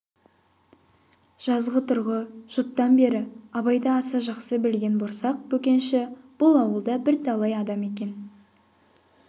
жазғытұрғы жұттан бері абайды аса жақсы білген борсақ бөкенші бұл ауылда бірталай адам екен